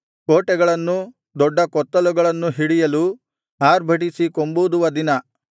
ಕೋಟೆಗಳನ್ನೂ ದೊಡ್ಡ ಕೊತ್ತಲುಗಳನ್ನೂ ಹಿಡಿಯಲು ಆರ್ಭಟಿಸಿ ಕೊಂಬೂದುವ ದಿನ